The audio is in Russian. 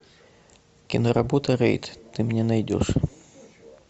киноработа рейд ты мне найдешь